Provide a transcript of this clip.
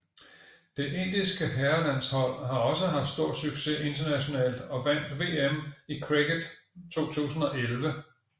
Det indiske herrelandshold har også haft stor succes internationalt og vandt VM i cricket 2011